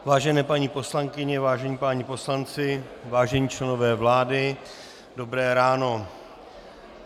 Vážené paní poslankyně, vážení páni poslanci, vážení členové vlády, dobré ráno.